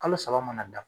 Kalo saba mana da